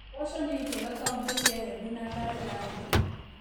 Mboco nĩ njega kauntĩ cia Embu na Tharaka Nithi